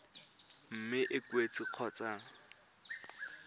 mme e ka oketswa kgotsa